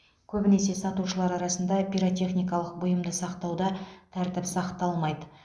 көбінесе сатушылар арасында пиротехникалық бұйымды сақтауда тәртіп сақталмайды